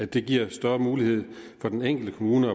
det giver større mulighed for den enkelte kommune